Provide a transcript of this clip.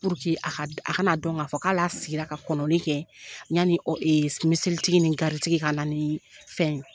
a kana dɔn k'a fɔ k'a hali a sigira ka kɔnɔnli kɛ yani miseli tigi ni gaari tigi ka na ni